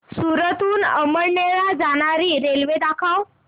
सूरत हून अमळनेर ला जाणारी रेल्वे दाखव